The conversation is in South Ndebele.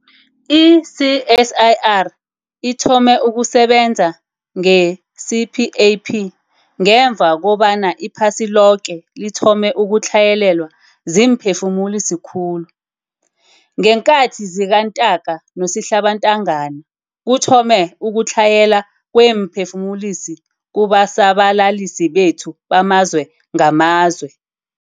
I-CSIR ithome ukusebenza nge-CPAP ngemva kobana iphasi loke lithome ukutlhayelelwa ziimphefumulisi khulu. Ngeenkhathi zikaNtaka noSihlabantangana, kuthome ukutlhayela kweemphefumulisi kubasabalalisi bethu bamazwe ngamazwe.